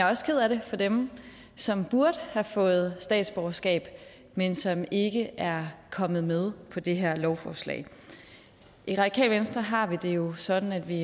også ked af det for dem som burde have fået statsborgerskab men som ikke er kommet med på det her lovforslag i radikale venstre har vi det jo sådan at vi